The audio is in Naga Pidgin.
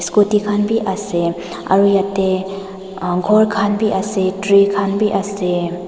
scooty khan bi ase aro yate umm ghor khan bi ase tree khan bi ase.